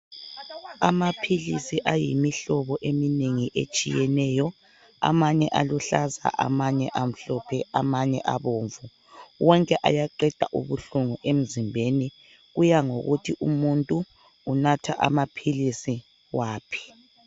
Amaphilisi ayimihlobo eminengi etshiyeneyo amanye aluhlaza amanye amhlophe amanye abomvu wonke ayaqeda ubuhlungu emzimbeni kuyangakokuthi umuntu unatha amaphilisi waphi.